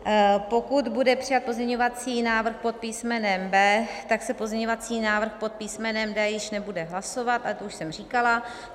Pokud bude přijat pozměňovací návrh pod písmenem B, tak se pozměňovací návrh pod písmenem D již nebude hlasovat, ale to už jsem říkala.